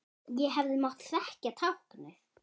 Ég hefði mátt þekkja táknið.